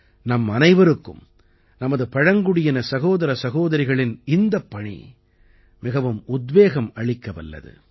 நம்மனைவருக்கும் நமது பழங்குடியின சகோதர சகோதரிகளின் இந்தப் பணி மிகவும் உத்வேகம் அளிக்க வல்லது